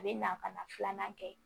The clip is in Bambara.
A bɛ na ka na filanan kɛ